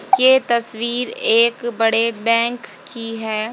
ये तस्वीर एक बड़े बैंक की है।